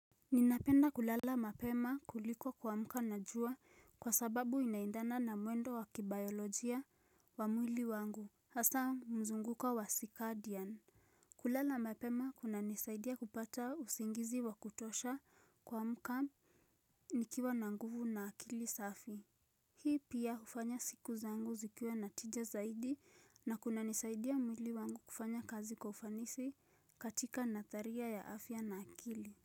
Ninapenda kulala mapema kuliko kuamka na jua kwa sababu inaendana na mwendo wa kibayolojia wa mwili wangu hasa mzunguko wa sikadian. Kulala mapema kunanisaidia kupata usingizi wa kutosha kuamka nikiwa na nguvu na akili safi Hii pia hufanya siku zangu zikiwe na tija zaidi na kunanisaidia mwili wangu kufanya kazi kwa ufanisi katika natharia ya afya na akili.